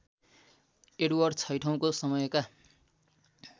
Edward छैठौँको समयका